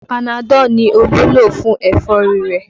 Panadọ ni Olú lo fún ẹ̀fọ́rí rẹ̀